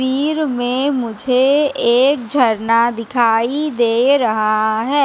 वीर में मुझे एक झरना दिखाई दे रहा है।